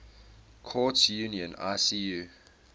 courts union icu